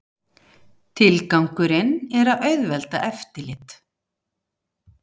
Tilgangurinn er að auðvelda eftirlit